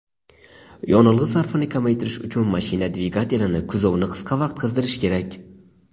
yonilg‘i sarfini kamaytirish uchun mashina dvigatelini kuzovni qisqa vaqt qizdirish kerak.